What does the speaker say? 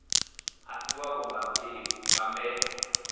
a si wavho nga mbebo